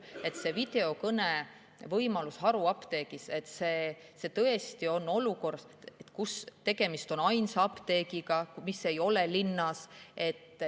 See videokõnevõimalus haruapteegis on tõesti olukorras, kus tegemist on ainsa apteegiga, mis ei ole linn.